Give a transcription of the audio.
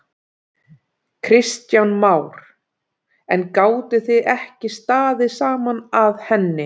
Kristján Már: En gátuð þið ekki staðið saman að henni?